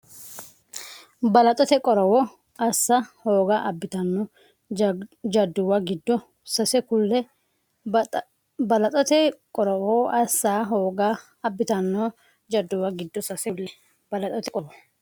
Balaxote qorowo assa hooga abbitanno jadduwa giddo sase kulle Balaxote qorowo assa hooga abbitanno jadduwa giddo sase kulle Balaxote qorowo.